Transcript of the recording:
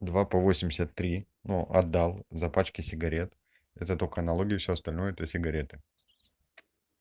два по восемьдесят три ну отдал за пачки сигарет это только налоги всё остальное плюс сигареты